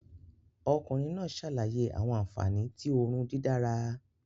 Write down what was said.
Ọkunrin naa ṣalaye awọn anfani ti oorun didara